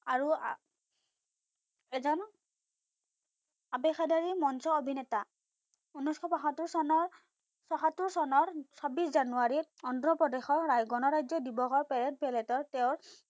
আৰু এজন আবেসাদাৰি মঞ্চ অভিনেতা। উনৈসশ বাসত্তৰ চনৰ বাসত্তৰ চনৰ ছাব্বিশ জানুৱাৰীত অন্ধ্ৰপ্ৰদেশৰ ৰায় গনৰাজ্য দিৱসৰ পেৰেড পেলেটত তেওঁ